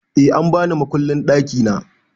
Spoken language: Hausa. Eh an bani mukullin ɗakina